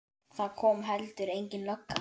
Og það kom heldur engin lögga.